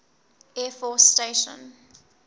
air force station